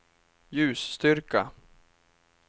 ljusstyrka